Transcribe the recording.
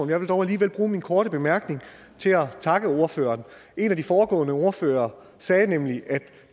jeg vil dog alligevel bruge min korte bemærkning til at takke ordføreren en af de foregående ordførere sagde nemlig at